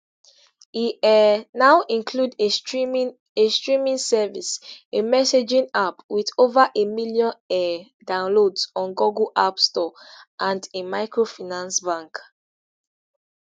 e um now include a streaming a streaming service a messaging app with over a million um downloads on google app store and a microfinance bank